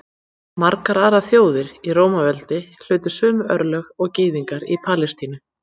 Margar aðrar þjóðir í Rómaveldi hlutu sömu örlög og Gyðingar í Palestínu.